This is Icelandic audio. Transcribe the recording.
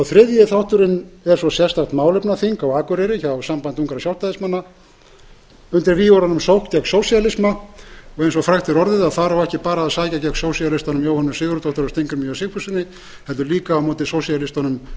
þriðji þátturinn er svo sérstakt málefnaþing á akureyri hjá sambandi ungra sjálfstæðismanna undir vígorðunum sókn gegn sósíalisma eins og frægt er orðið á þar ekki bara að sækja gegn sósíalistunum jóhönnu sigurðardóttur og steingrími j sigfússyni heldur líka á móti